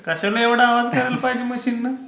कशाला एवढा आवाज करायला पाहिजे मशीन.